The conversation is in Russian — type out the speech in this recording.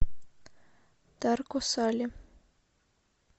тарко сале